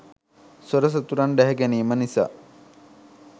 සොර සතුරන් ඩැහැගැනීම නිසා